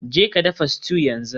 Jeka dafa stew yanzu.